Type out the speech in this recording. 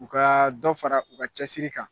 U kaa dɔ fara u ka cɛsiri kan